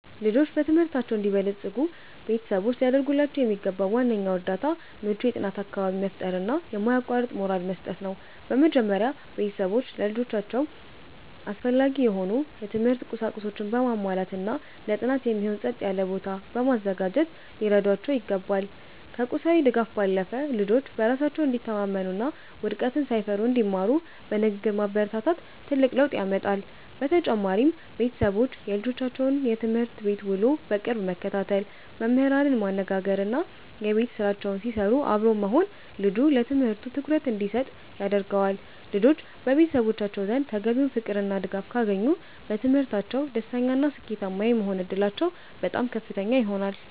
ልጆች በትምህርታቸው እንዲበለጽጉ ቤተሰቦች ሊያደርጉላቸው የሚገባው ዋነኛው እርዳታ ምቹ የጥናት አካባቢን መፍጠርና የማያቋርጥ ሞራል መስጠት ነው። በመጀመሪያ፣ ቤተሰቦች ለልጆቻቸው አስፈላጊ የሆኑ የትምህርት ቁሳቁሶችን በማሟላትና ለጥናት የሚሆን ጸጥ ያለ ቦታ በማዘጋጀት ሊረዷቸው ይገባል። ከቁሳዊ ድጋፍ ባለፈ፣ ልጆች በራሳቸው እንዲተማመኑና ውድቀትን ሳይፈሩ እንዲማሩ በንግግር ማበረታታት ትልቅ ለውጥ ያመጣል። በተጨማሪም፣ ቤተሰቦች የልጆቻቸውን የትምህርት ቤት ውሎ በቅርብ መከታተል፣ መምህራንን ማነጋገርና የቤት ስራቸውን ሲሰሩ አብሮ መሆን ልጁ ለትምህርቱ ትኩረት እንዲሰጥ ያደርገዋል። ልጆች በቤተሰቦቻቸው ዘንድ ተገቢውን ፍቅርና ድጋፍ ካገኙ፣ በትምህርታቸው ደስተኛና ስኬታማ የመሆን ዕድላቸው በጣም ከፍተኛ ይሆናል።